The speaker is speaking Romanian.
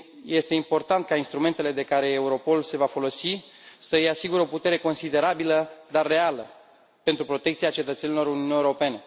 Este important ca instrumentele de care Europol se va folosi să îi asigure o putere considerabilă, dar reală pentru protecția cetățenilor Uniunii Europene.